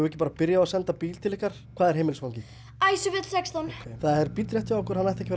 ekki að byrja á að senda bíl til ykkar hvað er heimilisfangið sextán það er bíll rétt hjá ykkur hann ætti ekki